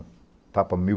tapa mil